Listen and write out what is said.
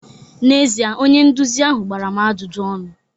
N'ezie, onye nduzi ahụ gbara m ajụjụ ọnụ